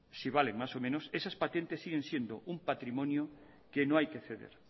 si valen más o menos esas patentes siguen siendo un patrimonio que no hay que ceder